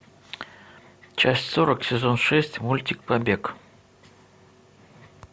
часть сорок сезон шесть мультик побег